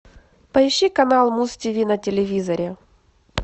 поищи канал муз тиви на телевизоре